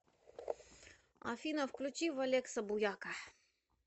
афина включи валекса буяка